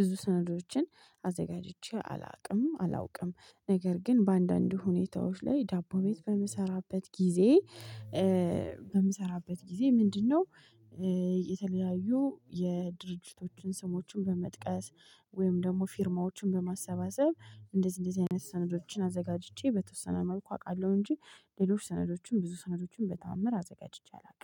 ብዙ ሰነዶችን አዘጋጅቼ አላውቅም አላውቅም። ነገር ግን በአንዳንድ ሁኔታዎች ላይ ዳቦ ቤት በምሰራበት ጊዜ በምሰራበት ጊዜ ምንድነው? የተለያዩ የድርጅቶችን ስሞችን በመጥቀስ ወይም ደግሞ ፊርማዎችን በማሰባሰብ እንደዚህ እንደዚህ አይነት ሰነዶችን አዘጋጅቼ በተወሰነ መልኩ አውቃለሁ። እንጂ ሌሎች ሰነዶችን ብዙ ሰነዶችን በተአምር አዘጋጅቼ አላውቅም